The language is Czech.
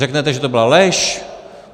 Řeknete, že to byla lež?